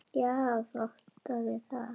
Já, þú átt við það!